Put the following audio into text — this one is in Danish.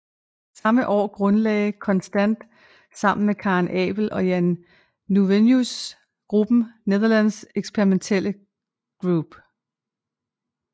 Samme år grundlagde Constant sammen med Karel Appel og Jan Nieuwenhuys gruppen Nederlands Experimentele Groep